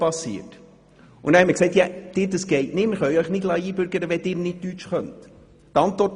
Wir sagten ihr dann, es sei nicht möglich, sie einzubürgern, wenn sie nicht Deutsch spricht.